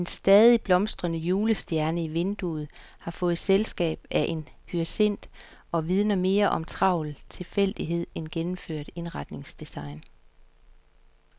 En stadig blomstrende julestjerne i vinduet har fået selskab af en hyacint og vidner mere om travl tilfældighed end gennemført indretningsdesign.